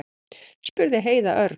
spurði Heiða örg.